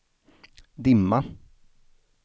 dimma